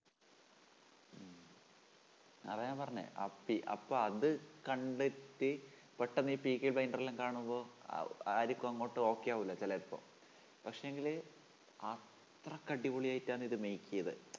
അതാ ഞാൻ പറഞ്ഞെ അപ്പീ അപ്പൊ അത് കണ്ടിട്ട് പെട്ടെന്നീ blinder എല്ലാം കാണുമ്പോ അഹ് ആർക്കും അങ്ങോട്ട് okay ആവൂല്ല ചിലപ്പോ പക്ഷേങ്കില് അത്രക്ക് അടിപൊളിയായിട്ടാണിത്‌ make ചെയ്തേ